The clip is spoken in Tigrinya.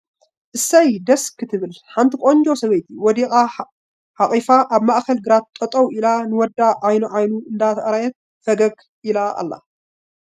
እሰይ!.. ደስ ክትብል ሓንቲ ቖንጆ ሰበይቲ ወዳ ሓቒፋ ኣብ ማእኽል ግራት ጠጠው ኢላ ንወዳ ዐይኑ ዐይኑ እንዳረኣየት ፈገግ ኢላ ኣላ ።